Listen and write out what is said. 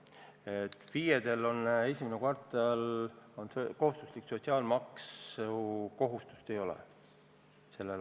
FIE-del selle aasta esimeses kvartalis sotsiaalmaksukohustust ei ole.